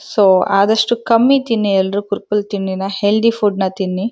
So ಆದಸ್ಟು ಕಮ್ಮಿ ತಿನ್ನಿ ಎಲ್ರು ತಿನ್ನಿ ನ ಹೆಳ್ಧಿ ಫುಡ್ನ ತಿನ್ನಿ.